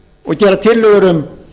og gera tillögur um